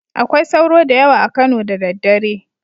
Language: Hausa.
Akwai sauro da yawa a Kano da daddare